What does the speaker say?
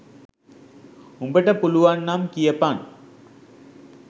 උඹට පුළුවන් නම් කියපන්